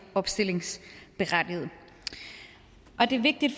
opstillingsberettiget det er vigtigt